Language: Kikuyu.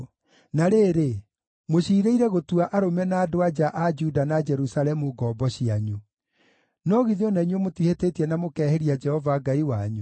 Na rĩrĩ, mũciirĩire gũtua arũme na andũ-a-nja a Juda na Jerusalemu ngombo cianyu. No githĩ o na inyuĩ mũtihĩtĩtie na mũkehĩria Jehova Ngai wanyu?